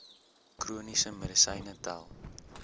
chroniese medisyne tel